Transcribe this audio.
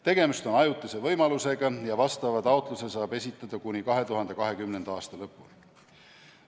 Tegemist on ajutise võimalusega ja vastava taotluse saab esitada kuni 2020. aasta lõpuni.